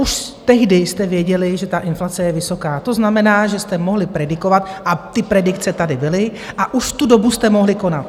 Už tehdy jste věděli, že ta inflace je vysoká, to znamená, že jste mohli predikovat a ty predikce tady byly a už v tu dobu jste mohli konat.